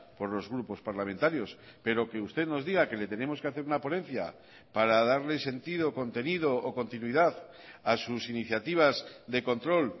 por los grupos parlamentarios pero que usted nos diga que le tenemos que hacer una ponencia para darle sentido contenido o continuidad a sus iniciativas de control